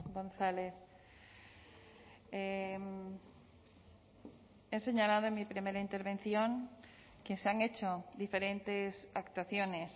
gonzález he señalado en mi primera intervención que se han hecho diferentes actuaciones